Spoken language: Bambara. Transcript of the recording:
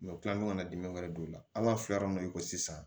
u tila ka na dimi wɛrɛ don o la an b'a filɛ min na i ko sisan